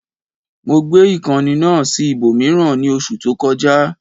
Mo gbé ìkànnì náà sí ibòmíràn ní oṣù tó kọjá